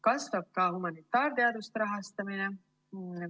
Kasvab ka humanitaarteaduste rahastamine.